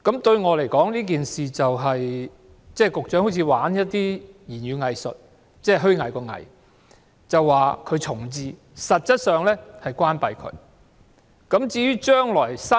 對我來說，局長好像在玩語言"偽術"——虛偽的"偽"，說學校會重置，實質上卻是關閉學校。